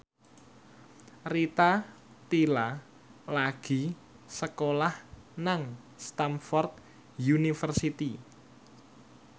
Rita Tila lagi sekolah nang Stamford University